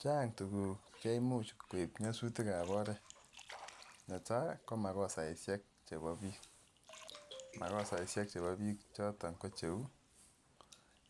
Chang tukuk chemuch koib nyasutik ab oret, netai komakosaishek chebo bik, makosaishek chebo bik choton ko cheu